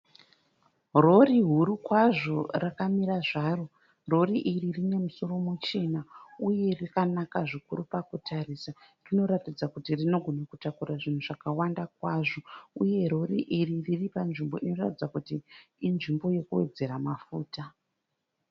Rori huru kwazvo rakamira zvaro. Rori iri rine musoro muchena uye rakanaka zvikuru pakutarisa. Rinoratidza kuti rinogona kutakura zvinhu zvakawanda kwazvo uye rori iri riri panzvimbo inoratidza kuti inzvimbo yekuwedzera mafuta.